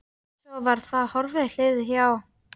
Svo var það horfið, liðið hjá.